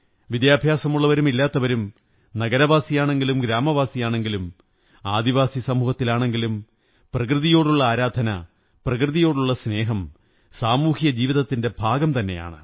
വിദ്യാഭ്യാസമുള്ളവരും ഇല്ലാത്തവരും നഗരവാസിയാണെങ്കിലും ഗ്രാമവാസിയാണെങ്കിലും ആദിവാസിസമൂഹത്തിലാണെങ്കിലും പ്രകൃതിയോടുള്ള ആരാധന പ്രകൃതിയോടുള്ള സ്നേഹം സാമൂഹിക ജീവിതത്തിന്റെ ഭാഗം തന്നെയാണ്